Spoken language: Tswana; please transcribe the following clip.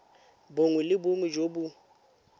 bongwe le bongwe jo bo